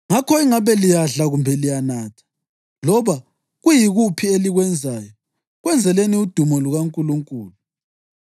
Ngakho ingabe liyadla kumbe liyanatha, loba kuyikuphi elikwenzayo, kwenzeleni udumo lukaNkulunkulu.